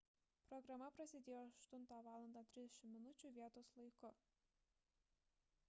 programa prasidėjo 8:30 val. vietos laiku 15:00 utc